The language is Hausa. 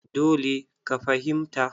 Dole ka fahimta!